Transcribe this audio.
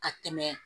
Ka tɛmɛ